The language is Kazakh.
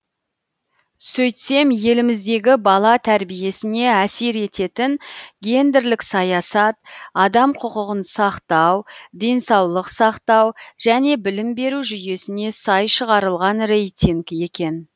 сөйтсем еліміздегі бала тәрбиесіне әсер ететін гендерлік саясат адам құқығын сақтау денсаулық сақтау және білім беру жүйесіне сай шығарылған рейтинг екен